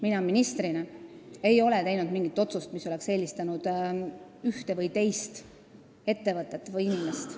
Mina ministrina ei ole teinud ühtegi otsust, millega oleks eelistatud ühte või teist ettevõtet või inimest.